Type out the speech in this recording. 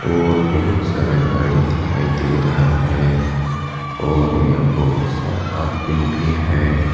और बहुत सारा गाड़ी दिखाई दे रहा है और यहां बहुत सारा आदमीन भी है।